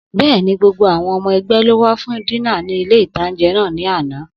Bẹ́ẹ̀ni, gbogbo àwọn ọmọ ẹgbẹ́ ló wá fún dínà ní ilé-ìtánjẹ náà ní àná